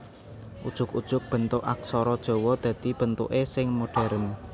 Ujug ujug bentuk aksara Jawa dadi bentuké sing modhèrn